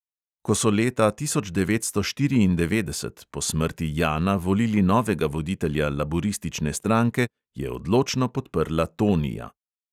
Ko so leta tisoč devetsto štiriindevetdeset po smrti jana volili novega voditelja laburistične stranke, je odločno podprla tonija.